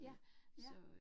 Ja, ja